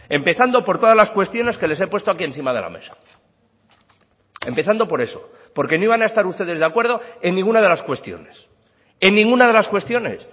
empezando por todas las cuestiones que les he puesto aquí encima de la mesa empezando por eso porque no iban a estar ustedes de acuerdo en ninguna de las cuestiones en ninguna de las cuestiones